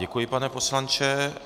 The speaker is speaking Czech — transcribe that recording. Děkuji, pane poslanče.